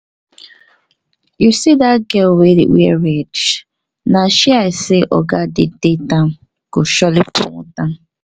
you see dat girl wey dey wear red na she i say oga dey date am go surely promote am